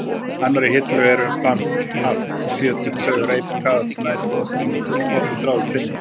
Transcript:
annarri hillu eru: band, haft, fjötur, taug, reipi, kaðall, snæri, strengur, spotti, þráður, tvinni.